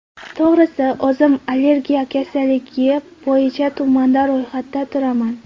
To‘g‘risi, o‘zim alergiya kasalligi bo‘yicha tumanda ro‘yxatda turaman.